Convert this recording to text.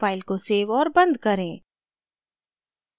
file को save और बंद करें